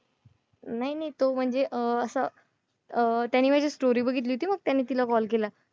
नाही नाही तो म्हणजे अं असं अं त्याने माझी story बघितली होती मग त्याने तिला call केला.